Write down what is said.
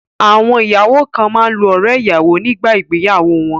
Àwọn ìyàwó kan máa ń lo ọrẹ́-ìyàwọ nígbà ìgbéyàwó wọn.